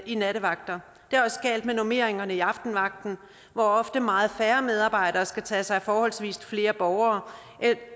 i nattevagter det er også galt med normeringerne i aftenvagten hvor ofte meget færre medarbejdere skal tage sig af forholdsvis flere borgere